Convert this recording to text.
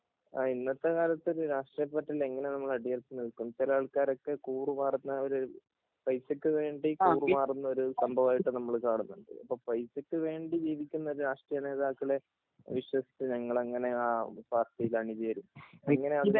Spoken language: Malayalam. ഇന്നത്തെ കാലത്ത് ഒരു രാഷ്ട്രീയ പാര്‍ട്ടിയില്‍ എങ്ങനെ നമ്മള്‍ അടിയൊറച്ച് നിൽക്കും ചില ആൾക്കാരൊക്കെ കൂറ് മാറുന്നൊരു പൈസക്ക് വേണ്ടി കൂറ് മാറുന്നൊരു സംഭവമായിട്ട് നമ്മൾ കാണുന്നുണ്ട് അപ്പൊ പൈസക്ക് വേണ്ടി ജീവിക്കുന്ന രാഷ്ട്രീയ നേതാക്കളെ വിശ്വസിച്ച് നിങ്ങൾ എങ്ങനെ ആ പാർട്ടിയിൽ അണിചേരും എങ്ങനെയാണ്